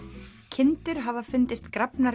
kindur hafa fundist grafnar